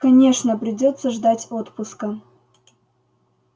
конечно придётся ждать отпуска